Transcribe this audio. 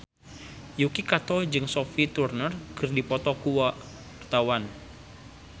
Yuki Kato jeung Sophie Turner keur dipoto ku wartawan